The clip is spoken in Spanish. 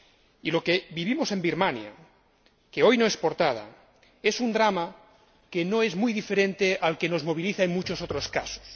Y lo que vivimos en Birmania, que hoy no es portada, es un drama que no es muy diferente al que nos moviliza en muchos otros casos.